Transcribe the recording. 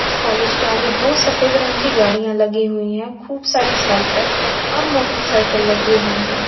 इस कालेज के आगे दो सफेद रंग की गाड़ियां लगी हुई हैं खूब सारी साइकिल और मोटरसाइकिल लगी हुई हैं।